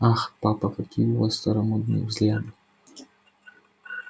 ах папа какие у вас старомодные взгляды